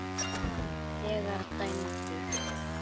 Hann er þegar dæmdur.